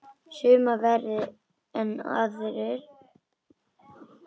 Sumir verri en aðrir.